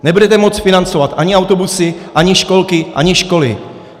Nebudete moct financovat ani autobusy, ani školky, ani školy.